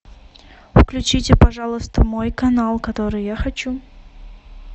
включите пожалуйста мой канал который я хочу